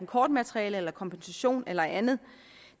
kortmateriale kompensation eller andet